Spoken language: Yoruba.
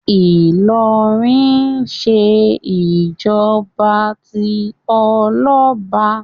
Ìlọrin ń ṣe ìjọba tí ọlọ́ba